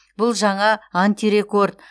бұл жаңа антирекорд